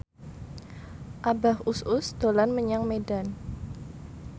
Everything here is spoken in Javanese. Abah Us Us dolan menyang Medan